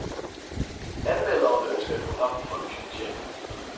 Anmelderen ønsker et program folk fortjener.